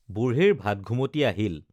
বুঢ়ীৰ ভাতঘুমতি আহিল